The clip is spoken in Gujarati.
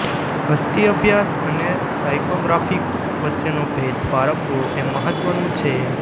વસ્તી અભ્યાસ અને સાયકોગ્રાફિક્સ વચ્ચેનો ભેદ પારખવો એ મહત્વનુ છે